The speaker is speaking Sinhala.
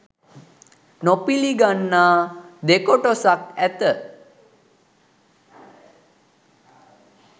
නොපිළිගන්නා දෙකොටසක් ඇත.